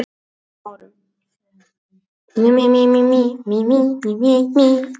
Leikurinn fer svolítið inn á þeirra styrkleika og þar töpum við bara, sagði Óli Stefán.